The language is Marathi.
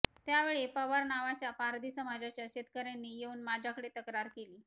त्यावेळी पवार नावाच्या पारधी समाजाच्या शेतकऱ्यांनी येऊन माझ्याकडे तक्रार केली